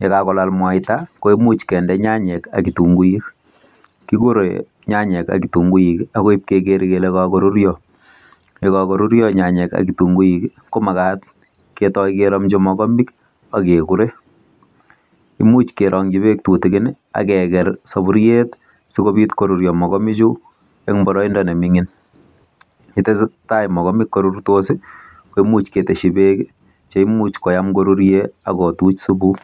Ye kagolaal mwaita koimuch kinde nyanyik ak kitunguuik, kigore nyanyik ak kitunguuik agoi ibkeger kele kagoruryo. Ye kagoruryo nyanyik ak kitunguuik komagat ketoi keromchi mogobek ak kegore. Imuch kerongi beek tutikin ak keger soburiet sikobit koruryo mogobek chu en boroindo neming'in. Ye tesetai mogobek korurutos ko imuch ketesyi beek che imuch koyam koruren ak kotuch supu.